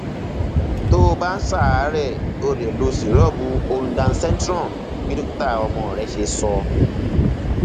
tó o bá ń ṣàárẹ o lè lo syrup ondansetron bí dókítà ọmọ rẹ ṣe sọ